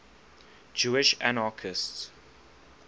jewish anarchists